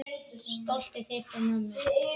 Stoltið þitt og mömmu.